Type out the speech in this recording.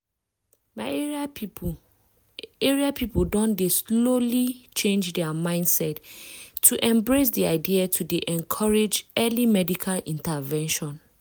my area people area people don dey slowly change dia mindset to embrace di idea to dey encourage early medical intervention.